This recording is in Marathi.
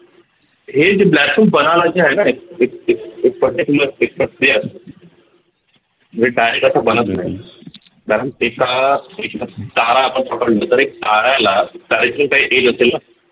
हे जे black hole जे आहे न हे हे हे हे particular एक प्रक्रिया असते जे काय त्याच कारण एका एक तारा आपण पकडल तर एक ताऱ्याला तारेतून काही असेल न